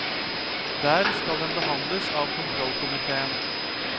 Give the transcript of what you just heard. Der skal den behandles av kontrollkomitéen.